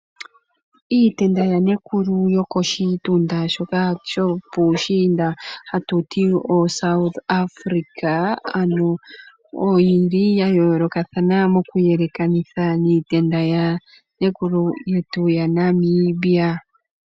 Iitenda yanekulu yokoshitunda shoka shopushinda ha tuti o South Africa ano oyili ya yolokathana moku yelekanitha niitenda yanekulu yetu ya Namibia.